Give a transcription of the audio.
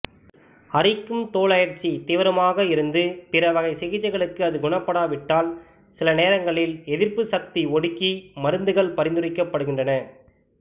அரிக்கும் தோலழற்சி தீவிரமாக இருந்து பிற வகை சிகிச்சைகளுக்கு அது குணப்படாவிட்டால் சில நேரங்களில் எதிர்ப்புசக்தி ஒடுக்கி மருந்துகள் பரிந்துரைக்கப்படுகின்றன